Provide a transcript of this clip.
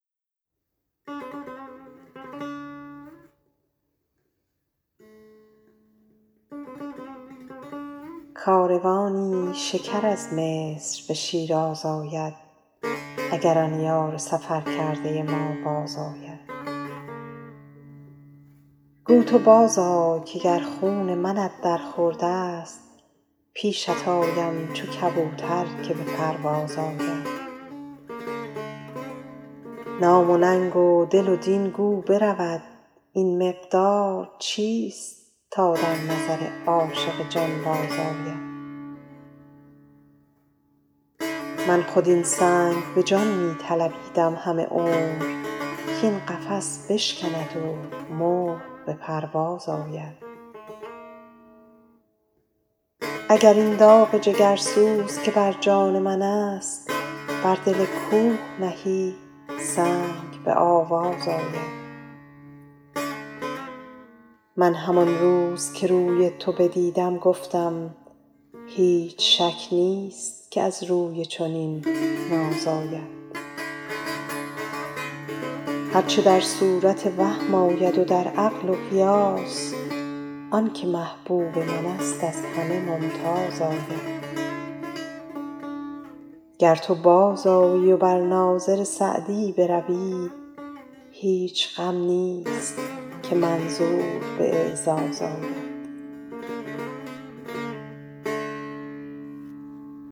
کاروانی شکر از مصر به شیراز آید اگر آن یار سفر کرده ما بازآید گو تو بازآی که گر خون منت در خورد است پیشت آیم چو کبوتر که به پرواز آید نام و ننگ و دل و دین گو برود این مقدار چیست تا در نظر عاشق جانباز آید من خود این سنگ به جان می طلبیدم همه عمر کاین قفس بشکند و مرغ به پرواز آید اگر این داغ جگرسوز که بر جان من است بر دل کوه نهی سنگ به آواز آید من همان روز که روی تو بدیدم گفتم هیچ شک نیست که از روی چنین ناز آید هر چه در صورت عقل آید و در وهم و قیاس آن که محبوب من است از همه ممتاز آید گر تو بازآیی و بر ناظر سعدی بروی هیچ غم نیست که منظور به اعزاز آید